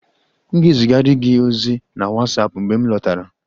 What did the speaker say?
M ga-ezigara gị ozi na WhatsApp, mgbe m lọtara